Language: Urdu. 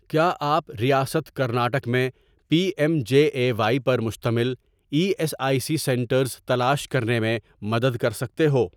کیا آپ ریاست کرناٹک میں P M J A Y پر مشتمل E S I C centres تلاش کرنے میں مدد کر سکتے ہو؟